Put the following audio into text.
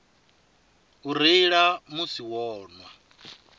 u reila musi vho nwa